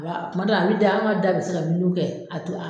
A b'a kuma dɔw a bi da an ka da bi se ka miniwi kɛ a tu a